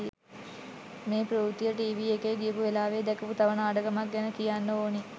මේ ප්‍රවෘත්තිය ටීවී එකේ ගියපු වෙලාවේ දැකපු තව නාඩගමක් ගැන කියන්න ඕනි.